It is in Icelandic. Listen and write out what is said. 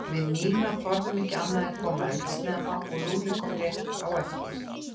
Við Nína þorðum ekki annað en að koma eldsnemma og Lúlli kom rétt á eftir